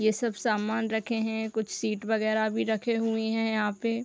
ये सब सामान रखे है कुछ शीट वगैरह भी रखे हुए है यहाँ पे --